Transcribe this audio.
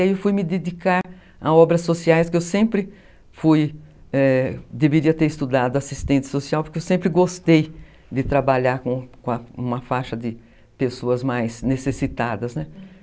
Aí eu fui me dedicar a obras sociais, que eu sempre fui, é, deveria ter estudado assistente social, porque eu sempre gostei de trabalhar com com uma faixa de pessoas mais necessitadas, né?